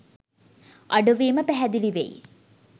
අඩුවීම පැහැදිලි වෙයි.